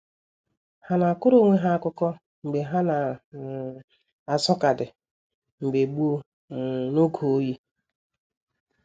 Ha na akọrọ onwe ha akụkọ mgbe ha na um azụ kaadị mbge gboo um n' oge oyi.